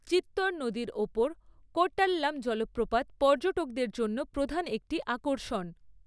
চিত্তর নদীর ওপর কোর্টাল্লাম জলপ্রপাত পর্যটকদের জন্য প্রধান একটি আকর্ষণ।